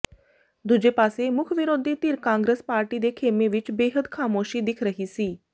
ਦੂਜੇ ਪਾਸੇ ਮੁੱਖ ਵਿਰੋਧੀ ਧਿਰ ਕਾਂਗਰਸ ਪਾਰਟੀ ਦੇ ਖੇਮੇ ਵਿੱਚ ਬੇਹੱਦ ਖਾਮੋਸ਼ੀ ਦਿਖ ਰਹੀ ਸੀ